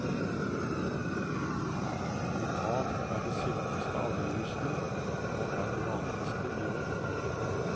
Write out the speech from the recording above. Wuhan er det sinteste av virusene, og er det vanligste i år.